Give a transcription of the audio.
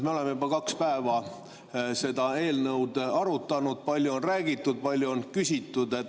Me oleme juba kaks päeva seda eelnõu arutanud, palju on räägitud, palju on küsitud.